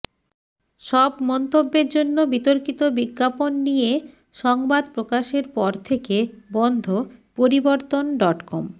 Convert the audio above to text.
সব মন্তব্যের জন্য বিতর্কিত বিজ্ঞাপন নিয়ে সংবাদ প্রকাশের পর থেকে বন্ধ পরিবর্তন ডটকম